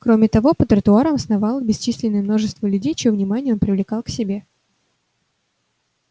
кроме того по тротуарам сновало бесчисленное множество людей чьё внимание он привлекал к себе